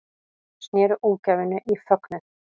Snéru ógæfunni í fögnuð